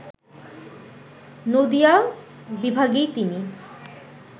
নদীয়া বিভাগেই তিনি